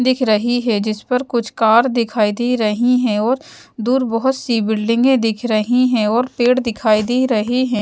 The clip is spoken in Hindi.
दिख रही है जिस पर कुछ कार दिखाई दे रही हैं और दूर बहुत सी बिल्डिंगें दिख रही हैं और पेड़ दिखाई दे रहे हैं।